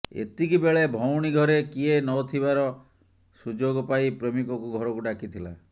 ଏତିକି ବେଳେ ଭଉଣୀ ଘରେ କିଏ ନଥିବାର ସୁଯୋଗ ପାଇ ପ୍ରେମିକକୁ ଘରକୁ ଡାକିଥିଲା